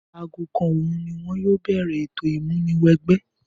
Aago kan òòru ni wọn yóò bẹ̀rẹ̀ ètò ìmúniwẹgbẹ́.